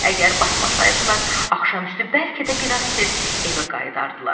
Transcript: Əgər batmasaydılar, axşam üstü bəlkə də biraz tez evə qayıdardılar.